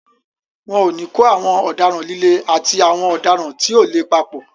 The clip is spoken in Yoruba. Wọn ò ní kó àwọn ọ̀daràn líle àti àwọn ọ̀daràn tí ò le papọ̀.